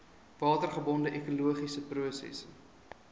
watergebonde ekologiese prosesse